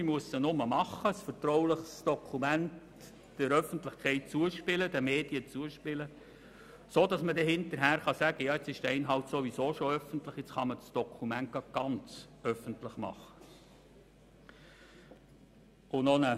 Man muss einfach ein vertrauliches Dokument den Medien zuspielen, dann kann man hinterher sagen, der Inhalt sei jetzt sowieso öffentlich, weshalb man gleich das ganze Dokument veröffentlichen könne.